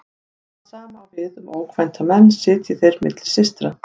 Það sama á við um ókvænta menn sitji þeir milli systra.